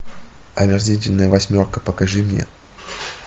омерзительная восьмерка покажи мне